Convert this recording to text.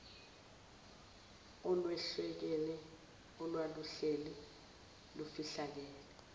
olwehlukene olwaluhleli lufihlakele